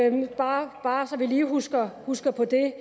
et valg bare så vi lige husker husker på det